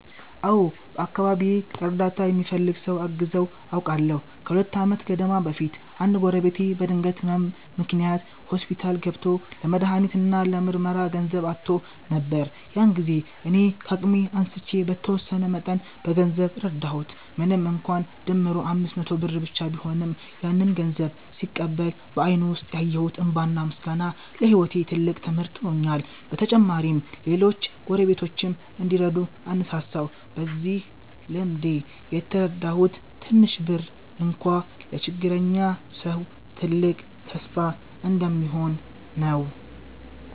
አዎ፣ በአካባቢዬ እርዳታ የሚፈልግ ሰው አግዘው አውቃለሁ። ከሁለት ዓመት ገደማ በፊት አንድ ጎረቤቴ በድንገት ህመም ምክንያት ሆስፒታል ገብቶ ለመድሃኒት እና ለምርመራ ገንዘብ አጥቶ ነበር። ያን ጊዜ እኔ ከአቅሜ አንስቼ በተወሰነ መጠን በገንዘብ ረዳሁት። ምንም እንኳን ድምሩ 500 ብር ብቻ ቢሆንም፣ ያንን ገንዘብ ሲቀበል በአይኑ ውስጥ ያየሁት እንባና ምስጋና ለህይወቴ ትልቅ ትምህርት ሆኖልኛል። በተጨማሪም ሌሎች ጎረቤቶችም እንዲረዱ አነሳሳሁ። በዚህ ልምዴ የተረዳሁት ትንሽ ብር እንኳ ለችግረኛ ሰው ትልቅ ተስፋ እንደሚሆን ነው።